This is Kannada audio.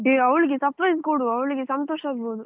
ಏ ಅವಳಿಗೆ surprise ಕೊಡುವ ಅವಳಿಗೆ ಸಂತೋಷ ಆಗ್ಬಹುದು